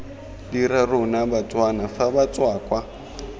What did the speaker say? dira rona batswana fa batswakwa